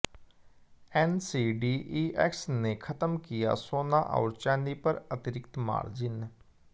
NCDEX ने खत्म किया सोना और चांदी पर अतिरिक्त मार्जिन